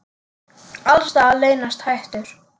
Alls staðar leynast hættur.